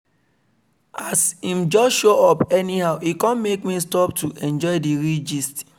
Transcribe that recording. as him just show up anyhow e come make me stop to enjoy real gist